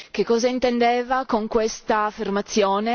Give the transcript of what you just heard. Che cosa intendeva con questa affermazione?